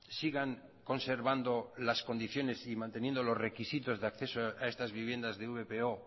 sigan conservando las condiciones y manteniendo los requisitos de acceso a estas viviendas de vpo